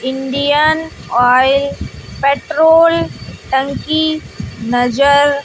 Indian Oil petrol टंकी नजर--